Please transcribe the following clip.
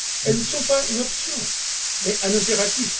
Elles ne sont pas une option mais un impératif.